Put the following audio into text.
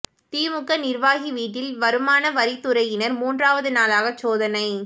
திமுக நிா்வாகி வீட்டில் வருமான வரித் துறையினா் மூன்றாவது நாளாக சோதனை